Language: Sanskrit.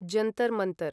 जन्तर् मन्तर्